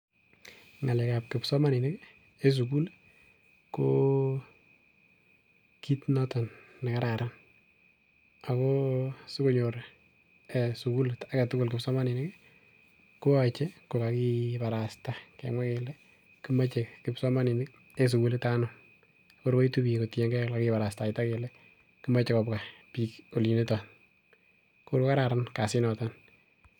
Ng'alek ab kipsomaninik en sukul ko kit noton nekararan ako sikonyor sukulit aketugul kipsomaninik ih koyoche kokakibarasta kemwaa kele komoche kipsomaninik en sukulit anum ko kor koitu biik kotiengei elekakibarastaita kole kimoche kobwa biik olin nioton ko kor kokararan kasit niton